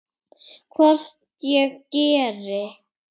Hvort ég geri!